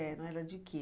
de quê?